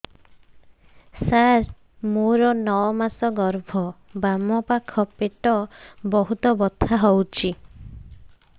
ସାର ମୋର ନଅ ମାସ ଗର୍ଭ ବାମପାଖ ପେଟ ବହୁତ ବଥା ହଉଚି